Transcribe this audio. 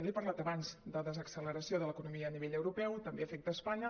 li he parlat abans de desacceleració de l’economia a nivell europeu també afecta espanya